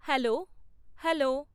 hello hello